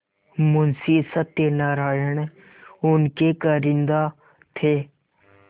मुंशी सत्यनारायण उनके कारिंदा थे